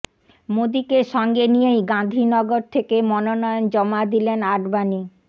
মোদীকে সঙ্গে নিয়েই গাঁধীনগর থেকে মনোনয়ন জমা দিলেন আডবাণী